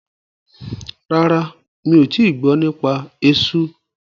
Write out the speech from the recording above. Rárá, mi ò tíì gbọ́ nípa esú.